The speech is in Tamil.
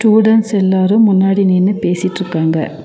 ஸ்டூடண்ட்ஸ் எல்லாரும் முன்னாடி நின்னு பேசிட்ருக்காங்க.